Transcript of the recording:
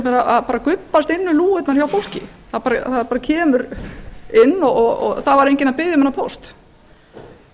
hefur gubbast inn um lúgurnar hjá fólki það kemur inn og það var enginn að biðja um þennan